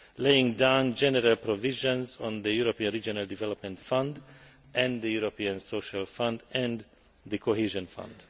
laying down general provisions on the European Regional Development Fund, the European Social Fund and the Cohesion Fund.